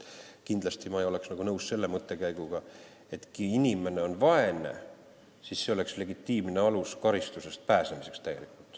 Kindlasti ei ole ma nõus selle mõttekäiguga, et kui inimene on vaene, siis see võiks olla legitiimne alus karistusest pääsemiseks.